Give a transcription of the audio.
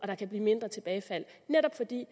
der kan blive mindre tilbagefald netop fordi